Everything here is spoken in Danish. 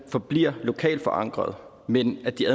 forbliver lokalt forankret men at de